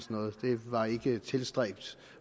noget det var ikke tilstræbt